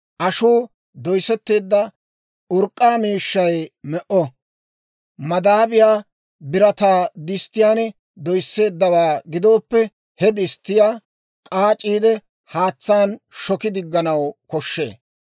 Ashuu doyssetteedda urk'k'aa miishshay me"o; madaabiyaa birataa disttiyaan doyisseeddawaa gidooppe, he disttiyaa k'aac'iide haatsaan shoki digganaw koshshee.